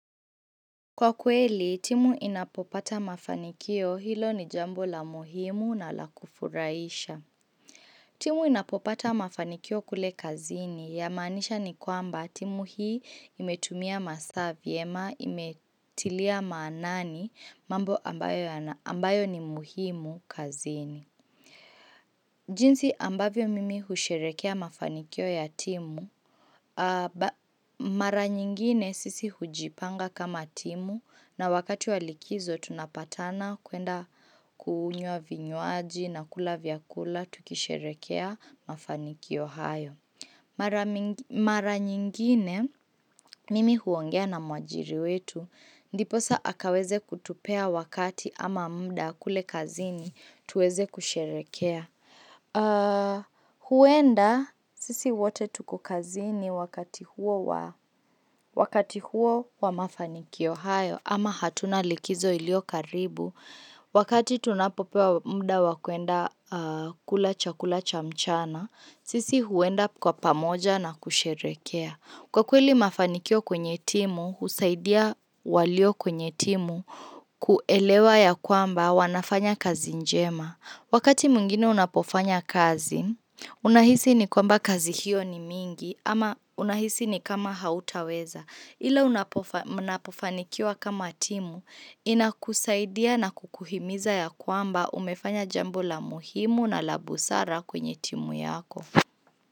Kwa kweli, timu inapopata mafanikio hilo ni jambo la muhimu na la kufurahisha. Timu inapopata mafanikio kule kazini ya maanisha ni kwamba timu hii imetumia masaa vyema imetilia maanani mambo ambayo ni muhimu kazini. Jinsi ambavyo mimi husherekea mafanikio ya timu. Mara nyingine sisi hujipanga kama timu na wakati wa likizo tunapatana kuenda kunywa vinywaji na kula vyakula tukisherekea mafanikio hayo. Mara nyingine, mimi huongea na mwajiri wetu. Ndiposa aweze kutupea wakati ama muda kule kazini, tuweze kusherekea. Huenda, sisi wote tuko kazini wakati huo wa mafanikio hayo, ama hatuna likizo iliyo karibu. Wakati tunapopewa muda wakuenda kula chakula cha mchana, sisi huenda pamoja na kusherekea. Kwa kweli mafanikio kwenye timu, husaidia waliyo kwenye timu kuelewa ya kwamba wanafanya kazi njema. Wakati mwingine unapofanya kazi, unahisi ni kwamba kazi hiyo ni mingi ama unahisi ni kama hautaweza. Ila mnapofanikiwa kama timu inakusaidia na kukuhimiza ya kwamba umefanya jambo la muhimu na la busara kwenye timu yako.